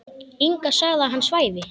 Inga sagði að hann svæfi.